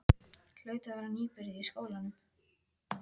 Hlaut að vera nýbyrjuð í skólanum.